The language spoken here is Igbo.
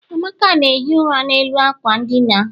amaka na-ehi ụra n'elu ákwà ndina.